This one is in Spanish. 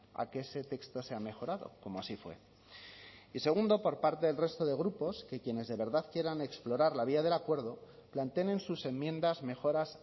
a que ese texto sea mejorado como así fue y segundo por parte del resto de grupos que quienes de verdad quieran explorar la vía del acuerdo planteen en sus enmiendas mejoras